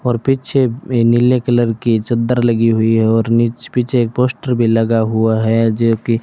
और पीछे नीले कलर की चद्दर लगी हुई है और नीच पीछे एक पोस्टर भी लगा हुआ है जो की --